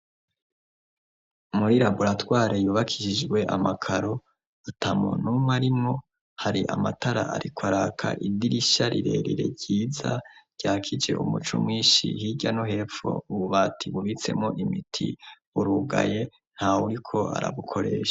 Muri raburatware yubakishijwe amakaro, ata muntu n'umwe arimwo, hari amatara ariko araka, idirisha rirerire ryiza, ryakije umuco mwinshi hirya no hepfo, ububati bubitsemwo imiti, urugaye ntawuriko arabukoresha.